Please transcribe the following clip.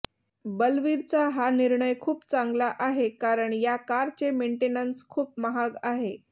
बलवीरचा हा निर्णय खूप चांगला आहे कारण या कारचे मेंटेनंस खूप महाग आहे